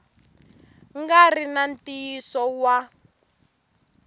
nga ri na ntiyiso wa